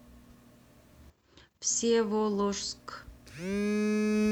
всеволожск